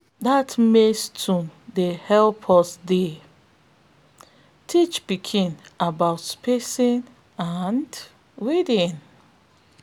dat maize tune dey help us dey teach pikin about spacing and weeding